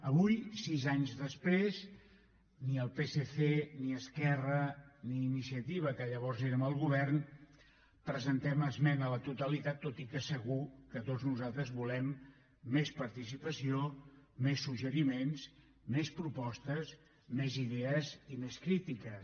avui sis anys després ni el psc ni esquerra ni iniciativa que llavors érem al govern presentem esmena a la totalitat tot i que segur que tots nosaltres volem més participació més suggeriments més propostes més idees i més crítiques